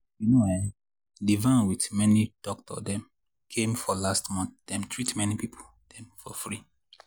you know[um]the van with doctor dem came for last month dem treat many people dem for free.